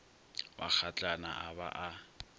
wa kgatlana a ba a